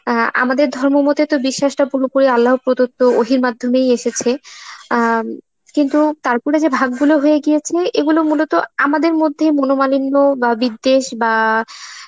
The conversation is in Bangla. অ্যাঁ আমাদের ধর্মমতে তো বিশ্বাসটা পুরোপুরি আল্লাহ প্রদত্ত অই মাধ্যমেই এসেছে, আ উম কিন্তু তারপরে যে ভাগ গুলো হয়ে গিয়েছে এইগুলো মূলত আমাদের মধ্যেই মনমালিন্য বা বিদ্বেষ বা